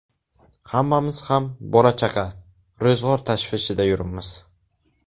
Hammamiz ham bola-chaqa, ro‘zg‘or tashvishida yuribmiz.